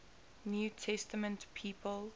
new testament people